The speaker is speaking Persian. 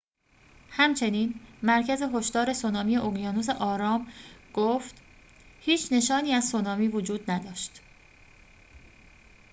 همچنین مرکز هشدار سونامی اقیانوس آرام گفت هیچ نشانی از سونامی وجود نداشت